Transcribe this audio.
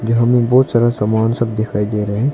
जहाँ में बहुत सारा सामान सब दिखाई दे रहे हैं।